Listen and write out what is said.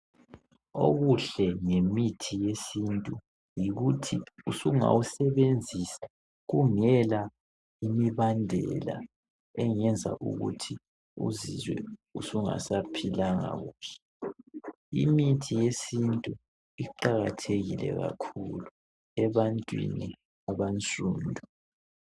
Okuhle ngemithi yesintu yikuthi usungawusebenzisa kungela imibandela .Engenza Ukuthi uzizwe usungasaphilanga kuhle .Imithi yesintu iqakathekile kakhulu ebantwini abansundu.